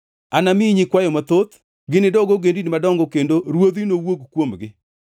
Anamiyi nyikwayo mathoth; ginidog ogendini madongo kendo ruodhi nowuog kuomgi.